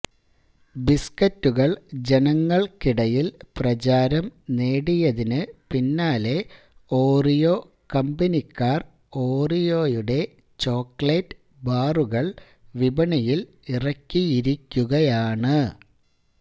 ബിസ്ക്കറ്റുകൾ ജനങ്ങൾക്കിടയിൽ പ്രചാരം നേടിയതിന് പിന്നാലെ ഓറിയോ കമ്പനിക്കാർ ഓറിയോയുടെ ചോക്ലേറ്റ് ബാറുകൾ വിപണിയിൽ ഇറക്കിയിരിക്കുകയാണ്